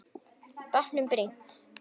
Bátnum brýnt.